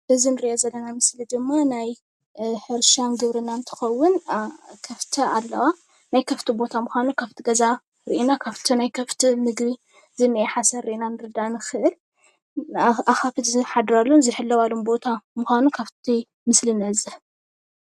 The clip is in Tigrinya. አዚ አንሪኦ ዘለና ምስሊ ድማ ናይ ሕርሻን ግብርናን አንትከዉን ከፍቲ ኣለዋ ናይ ከፍቲ ቦታ ምካኑ ካፍቲ ገዛ ሪእና ካፍቲ ናይ ከፍቲ ምግቢ ዝኒእ ሓሰር ሪአና ክንርዳአ ንኽእል ኣካፍት ዝሓድራሉን ዝሕለዋሉን ቦታ ሙካኑ ካፍቲ ምስሊ ንዕዘብ